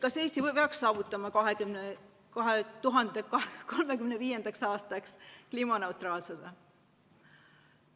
Kas Eesti peaks saavutama 2035. aastaks kliimaneutraalsuse?